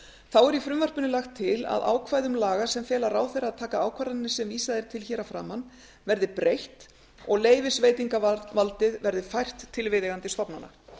þá er í frumvarpinu lagt til að ákvæðum laga sem fela ráðherra að taka ákvarðanir sem vísað er til hér að framan verði breytt og leyfisveitingarvaldið verði fært til viðeigandi stofnana